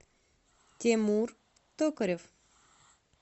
тимур токарев